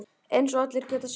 Eins og allir geta séð.